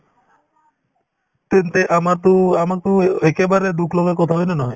তেন্তে আমাৰতো~ আমাকতো একেবাৰে দুখ লগা কথা হয় নে নহয়